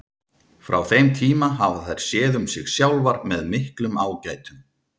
Frá þeim tíma hafa þær séð um sig sjálfar með miklum ágætum.